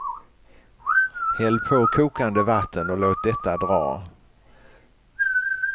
Häll på kokande vatten och låt detta dra.